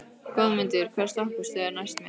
Goðmundur, hvaða stoppistöð er næst mér?